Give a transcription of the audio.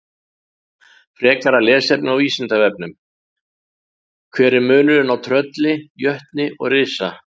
Frekara lesefni á Vísindavefnum: Hver er munurinn á trölli, jötni og risa?